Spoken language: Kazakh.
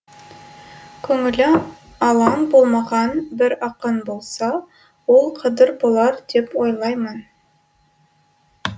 көңілі алаң болмаған бір ақын болса ол қадыр болар деп ойлаймын